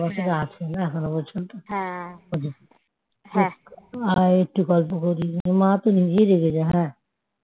সেই ভালোবাসাটা আছে না আয় একটু গল্প করি মা তো নিজেই রেগে যায়